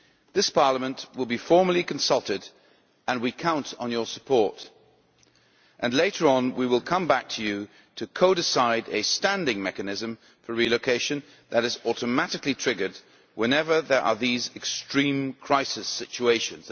This Parliament will be formally consulted and we count on your support, and later on we will come back to you to co decide a standing mechanism for relocation that is automatically triggered whenever there are these extreme crisis situations.